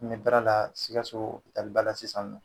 N bɛ baara la sikaso hɔpialiba la sisan ninɔ.